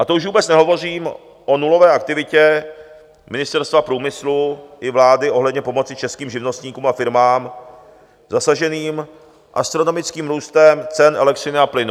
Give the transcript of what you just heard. A to už vůbec nehovořím o nulové aktivitě Ministerstva průmyslu i vlády ohledně pomoci českým živnostníkům a firmám zasaženým astronomickým růstem cen elektřiny a plynu.